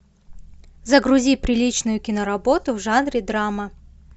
загрузи приличную киноработу в жанре драма